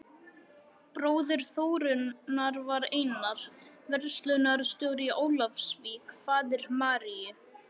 Bróðir Þórunnar var Einar, verslunarstjóri í Ólafsvík, faðir Maríu